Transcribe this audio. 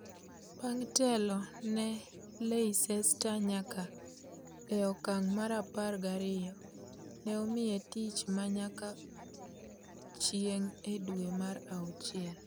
Bang' telo ne Leicester nyaka e okang' mar apar gariyo, ne omiye tich ma nyaka chieng' e dwe mar auchiel.